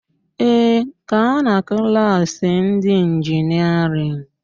Ee, gaa na klaasị ndị ịnjinịerịn